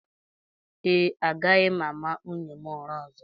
Ee, agaghị m ama nwunye m ụra ọzọ